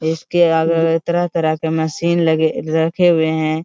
इसके आगे तरह-तरह के मशीन लगे रखे हुए हैं।